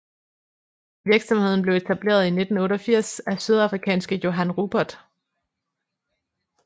Virksomheden blev etableret i 1988 af sydafrikanske Johann Rupert